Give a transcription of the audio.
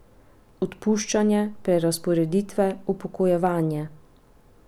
Odpuščanje, prerazporeditve, upokojevanje?